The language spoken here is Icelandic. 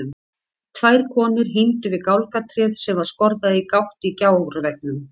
Tvær konur hímdu við gálgatréð sem var skorðað í gátt í gjárveggnum.